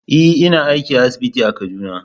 E, ina aiki a asibiti a Kaduna.